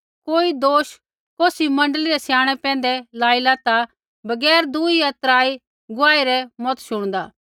कोई दोष कौसी मण्डली रै स्याणै पैंधै लाइला ता बगैर दूई या त्रा गुआही रै मत शुणदा